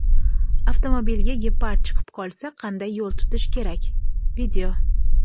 Avtomobilga gepard chiqib qolsa qanday yo‘l tutish kerak: video.